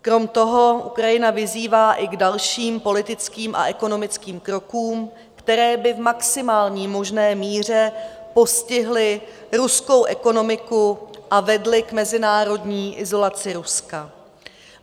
Krom toho Ukrajina vyzývá i k dalším politickým a ekonomickým krokům, které by v maximální možné míře postihly ruskou ekonomiku a vedly k mezinárodní izolaci Ruska.